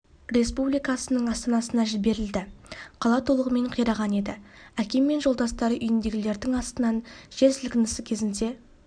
республикасының астанасына жіберілді қала толығымен қираған еді әкем мен жолдастары үйінділердің астынан жер сілкінісі кезінде